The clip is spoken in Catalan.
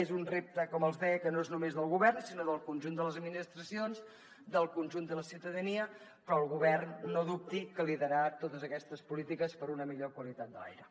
és un repte com els deia que no és només del govern sinó del conjunt de les administracions del conjunt de la ciutadania però el govern no dubti que liderarà totes aquestes polítiques per a una millor qualitat de l’aire